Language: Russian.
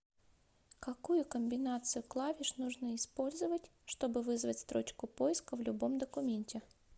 какую комбинацию клавиш нужно использовать чтобы вызвать строчку поиска в любом документе